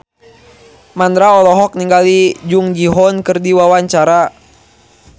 Mandra olohok ningali Jung Ji Hoon keur diwawancara